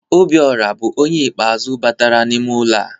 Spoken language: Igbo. Obiọra bụ onye ikpe azụ batara n'ime ụlọ a.